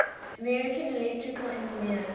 american electrical engineers